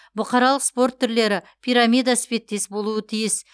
бұқаралық спорт түрлері пирамида іспеттес болуы тиіс